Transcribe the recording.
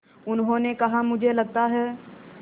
उन्होंने कहा मुझे लगता है